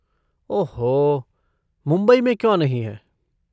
ओह हो! मुंबई में क्यों नहीं है?